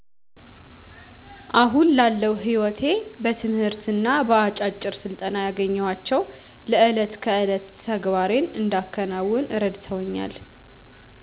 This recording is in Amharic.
አሁን ላለው ሕይወቴ በትምህርትና በአጫጭር ስልጠና ያገኘኋቸው ለዕለት ከዕለት ተግባሬን እንዳከናውን እረድተውኛል